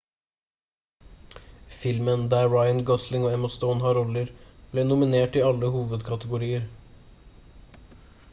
filmen der ryan gosling og emma stone har roller ble nominert i alle hovedkategorier